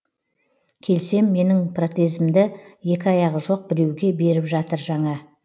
келсем менің протезімді екі аяғы жоқ біреуге беріп жатыр жаңа